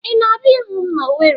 Ị na-abịa ịhụ m n'Ọweri.